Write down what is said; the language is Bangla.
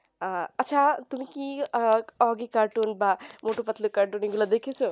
আহ আচ্ছা তুমি কি ওগি cartoon বা মুটো পাতলু cartoon এগুলা দেখেছো